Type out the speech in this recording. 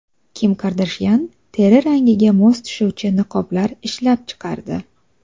Kim Kardashyan teri rangiga mos tushuvchi niqoblar ishlab chiqardi.